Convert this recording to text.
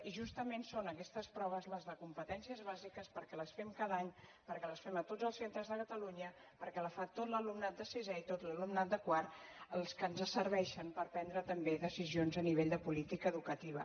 i justament són aquestes proves les de competències bàsiques perquè les fem cada any perquè les fem a tots els centres de catalunya perquè la fa tot l’alumnat de sisè i tot l’alumnat de quart les que ens serveixen per prendre també decisions a nivell de política educativa